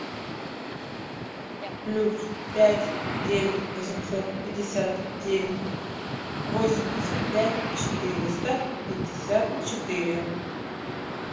плюс пять девять восемьсот пятьдесят девять восемьдесят пять четыреста пятьдесят четыре